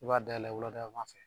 I b'a da la wuladayanfan fɛ